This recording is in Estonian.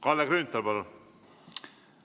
Kalle Grünthal, palun!